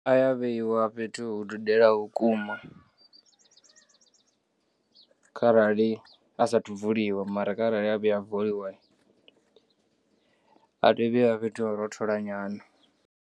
A ya vheiwa fhethu hu dudelaho vhukuma kharali a sathu vuliwa mara kharali a vhuya a vuliwa a teya u vheyiwa fhethu ho rothola nyana.